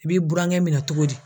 I b'i burankɛ minɛ cogo di?